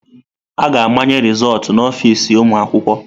A ga-amanye rịzọltụ na ọfịz ụmụ akwụkwọ.